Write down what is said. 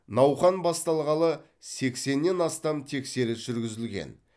науқан басталғалы сексеннен астам тексеріс жүргізілген